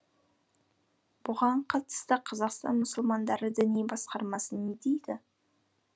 бұған қатысты қазақстан мұсылмандары діни басқармасы не дейді